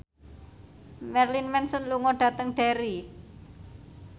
Marilyn Manson lunga dhateng Derry